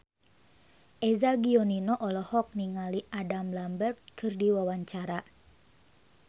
Eza Gionino olohok ningali Adam Lambert keur diwawancara